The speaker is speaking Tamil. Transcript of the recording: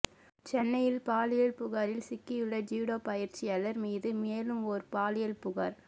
சென்னையில் பாலியல் புகாரில் சிக்கியுள்ள ஜூடோ பயிற்சியாளர் மீது மேலும் ஒரு பாலியல் புகார்